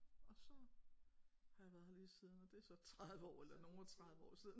Og så har jeg været her lige siden og det er så 30 år eller nogle og 30 år siden